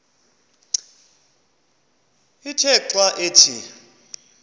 ithe xa ithi